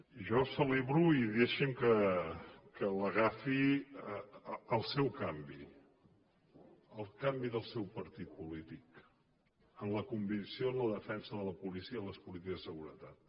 jo celebro i deixi’m que l’agafi el seu canvi el canvi del seu partit polític en la convicció en la defensa de la policia i les polítiques de seguretat